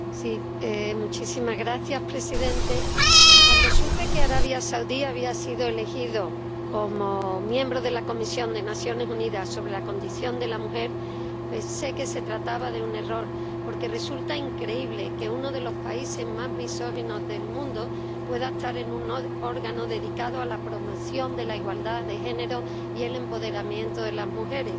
Señor presidente, cuando supe que Arabia Saudí había sido elegido miembro de la Comisión de las Naciones Unidas de la Condición Jurídica y Social de la Mujer, pensé que se trataba de un error, porque resulta increíble que uno de los países más misóginos del mundo pueda estar en un órgano dedicado a la promoción de la igualdad de género y el empoderamiento de las mujeres.